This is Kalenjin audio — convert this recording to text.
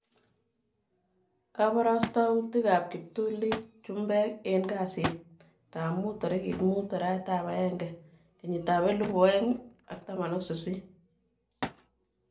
Kabarastautik ab kiptulit chumbek en kasit ab muut 05.01.2018